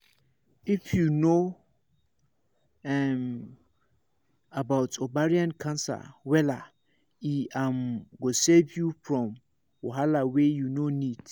if you know um about ovarian cancer wella e um go save you from wahala wey you no need